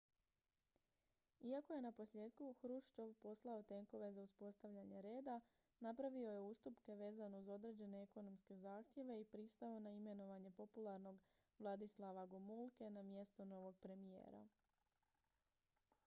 iako je naposljetku hruščov poslao tenkove za uspostavljanje reda napravio je ustupke vezano uz određene ekonomske zahtjeve i pristao na imenovanje popularnog wladyslawa gomulke na mjesto novog premijera